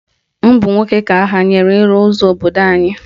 Ọ bụ nwoke ka ahanyere ịrụ ụzọ obodo anyị